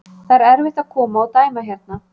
Það er erfitt að koma og dæma hérna.